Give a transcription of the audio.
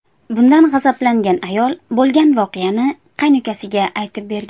Bundan g‘azablangan ayol bo‘lgan voqeani qaynukasiga aytib bergan.